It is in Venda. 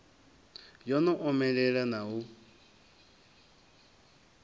yo no omelela na u